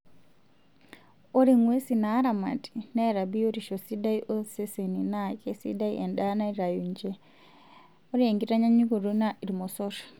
Ore ng'wesi naaramati naata biyotisho sidai oseseni naa keisidai endaa naitayu ninche, ore enkitanyanyukoto naa irmosor.